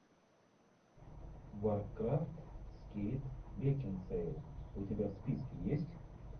варкрафт с кейт бекинсейл у тебя в списке есть